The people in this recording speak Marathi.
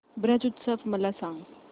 ब्रज उत्सव मला सांग